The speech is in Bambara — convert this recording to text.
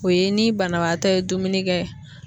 O ye ni banabaatɔ ye dumuni kɛ